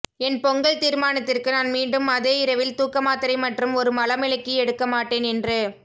என் பொங்கல் தீர்மானத்திற்கு நான் மீண்டும் அதே இரவில் தூக்க மாத்திரை மற்றும் ஒரு மலமிளக்கி எடுக்க மாட்டேன் என்று